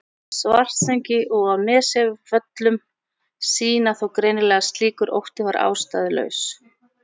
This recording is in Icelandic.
Svartsengi og á Nesjavöllum sýna þó greinilega að slíkur ótti var ástæðulaus.